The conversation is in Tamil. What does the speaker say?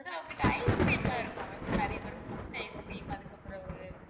உங்ககிட்ட ice cream லா இருக்குல்ல ma'am இப்ப நிறைய பேரு குச்சு ice cream அதுக்கப்புறம் ஒரு